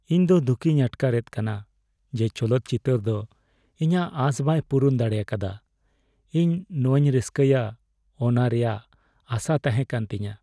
ᱤᱧ ᱫᱚ ᱫᱩᱠᱷᱤᱧ ᱟᱴᱠᱟᱨᱮᱫ ᱠᱟᱱᱟ ᱡᱮ ᱪᱚᱞᱚᱛ ᱪᱤᱛᱟᱹᱨ ᱫᱚ ᱤᱧᱟᱜ ᱟᱥ ᱵᱟᱭ ᱯᱩᱨᱩᱱ ᱫᱟᱲᱮᱭᱟᱠᱟᱫᱟ ᱾ ᱤᱧ ᱱᱚᱣᱟᱧ ᱨᱟᱹᱥᱠᱟᱹᱭᱟ ᱚᱱᱟ ᱨᱮᱭᱟᱜ ᱟᱥᱟ ᱛᱟᱦᱮᱠᱟᱱᱛᱤᱧᱟ ᱾